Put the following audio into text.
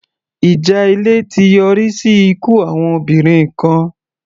Ìjà ilé ti yọrí sí ikú àwọn obìnrin kan.